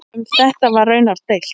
Um þetta var raunar deilt.